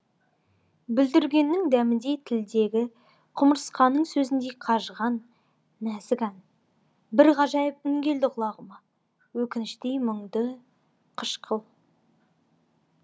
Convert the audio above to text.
бүлдіргеннің дәміндей тілдегі құмырсқаның сөзіндей қажыған нәзік ән бір ғажайып үн келді құлағыма өкініштей мұңды қышқыл